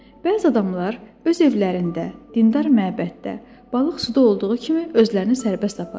Bəzi adamlar öz evlərində, dindar məbəddə, balıq suda olduğu kimi özlərini sərbəst aparırlar.